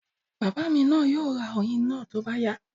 Bàbá mi yóò ra oyin náà tó bá yá